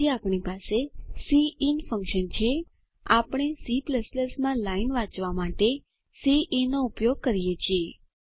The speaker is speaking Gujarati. પછી આપણી પાસે સિન ફન્કશન છે આપણે C માં લાઈન વાચવા માટે સિન નો ઉપયોગ કરીએ છીએ